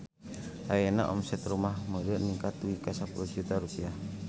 Ayeuna omset Rumah Mode ningkat dugi ka 10 juta rupiah